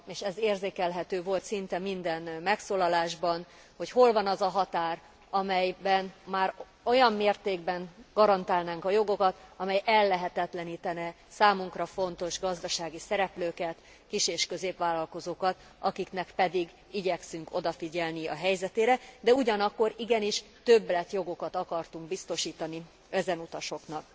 Ez érzékelhető volt szinte minden megszólalásban, hogy hol van az a határ, amelyben már olyan mértékben garantálnánk a jogokat, amely ellehetetlenítene számunkra fontos gazdasági szereplőket, kis és középvállalkozókat, akiknek pedig igyekszünk odafigyelni a helyzetére, de ugyanakkor igenis többletjogokat akartunk biztosítani ezen utasoknak.